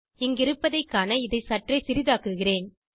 இங்கிருப்பதை காண இதைச் சற்றே சிறிதாக்குகிறேன்